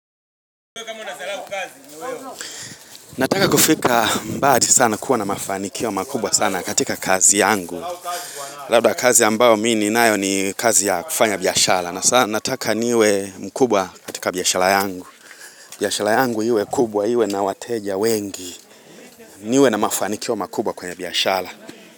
Nataka kufika mbali sana kuwa na mafanikio makubwa sana katika kazi yangu Labda kazi ambayo mimi ninayo ni kazi ya kufanya biashara Nataka niwe mkubwa katika biashara yangu biashara yangu iwe kubwa iwe na wateja wengi niwe na mafanikio makubwa kwenye biashara.